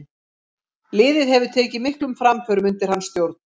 Liðið hefur tekið miklum framförum undir hans stjórn.